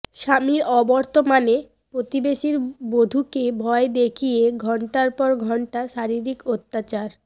স্বামীর অবর্তমানে প্রতিবেশীর বধূকে ভয় দেখিয়ে ঘণ্টার পর ঘণ্টা শারীরিক অত্যাচার